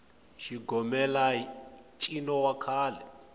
xigomelai ncino wa kahle